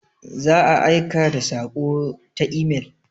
Za a aika da saƙo ta imel.